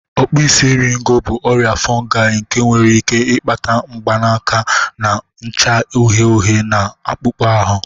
Okpuisi eriego bụ ọrịa fungi nke nwere ike ịkpata mgbanaka na-acha uhie uhie na akpụkpọ ahụ